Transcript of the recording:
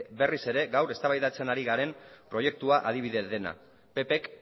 berriz ere gaur eztabaidatzen ari garen proiektuaren adibide dena ppk